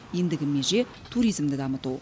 ендігі меже туризмді дамыту